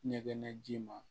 Ɲɛgɛn ji ma